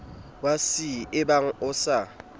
ya c ebang o sa